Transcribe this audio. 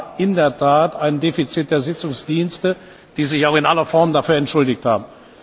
Es war in der Tat ein Defizit der Sitzungsdienste, die sich auch in aller Form dafür entschuldigt haben.